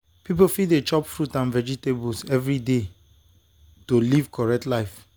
people fit dey chop fruit and vegetables every day to live correct life.